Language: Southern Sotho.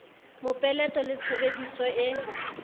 mopeleto le tshebedi so e